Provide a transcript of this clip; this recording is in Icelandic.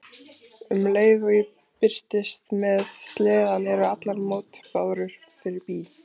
Um leið og ég birtist með sleðann eru allar mótbárur fyrir bí.